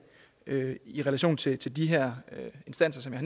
i relation til til de her instanser som jeg